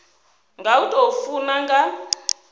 nga u tou funa nga